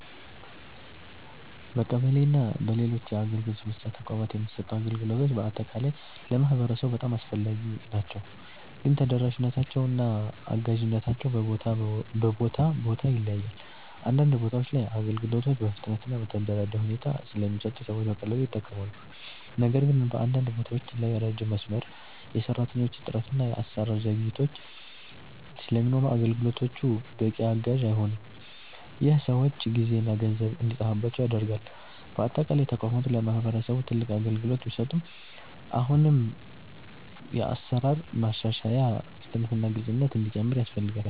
በቀበሌ እና በሌሎች የአገልግሎት መስጫ ተቋማት የሚሰጡ አገልግሎቶች በአጠቃላይ ለማህበረሰቡ በጣም አስፈላጊ ናቸው፣ ግን ተደራሽነታቸው እና አጋዥነታቸው በቦታ ቦታ ይለያያል። አንዳንድ ቦታዎች ላይ አገልግሎቶች በፍጥነት እና በተደራጀ ሁኔታ ስለሚሰጡ ሰዎች በቀላሉ ይጠቀማሉ። ነገር ግን በአንዳንድ ቦታዎች ላይ ረጅም መስመር፣ የሰራተኞች እጥረት እና የአሰራር ዘግይቶች ስለሚኖሩ አገልግሎቶቹ በቂ አጋዥ አይሆኑም። ይህ ሰዎች ጊዜና ገንዘብ እንዲጠፋባቸው ያደርጋል። በአጠቃላይ ተቋማቱ ለማህበረሰብ ትልቅ አገልግሎት ቢሰጡም አሁንም የአሰራር ማሻሻያ፣ ፍጥነት እና ግልፅነት እንዲጨምር ያስፈልጋል።